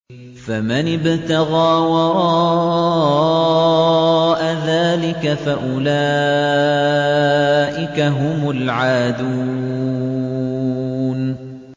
فَمَنِ ابْتَغَىٰ وَرَاءَ ذَٰلِكَ فَأُولَٰئِكَ هُمُ الْعَادُونَ